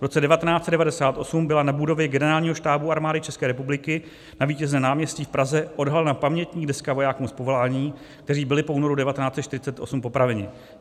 V roce 1998 byla na budově Generálního štábu armády České republiky na Vítězném náměstí v Praze odhalena pamětní deska vojákům z povolání, kteří byli po únoru 1948 popraveni.